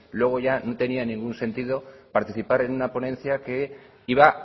luego ya no tenía ningún sentido participar en una ponencia que iba